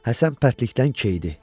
Həsən pərtlikdən keyidi.